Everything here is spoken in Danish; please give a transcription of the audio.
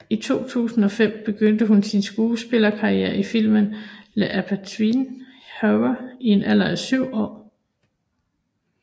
I 2005 begyndte hun sin skuespillerkarriere i filmen The Amityville Horror i en alder af syv år